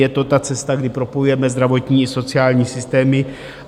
Je to ta cesta, kdy propojujeme zdravotní i sociální systémy.